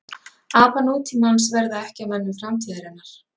Apar nútímans verða ekki að mönnum framtíðarinnar.